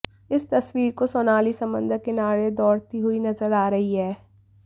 इस तस्वीर को सोनाली समंदर किनारे दौड़ती हुई नजर आ रही हैं